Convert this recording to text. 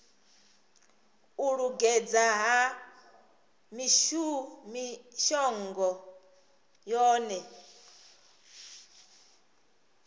u lingedza ha mishongo yohe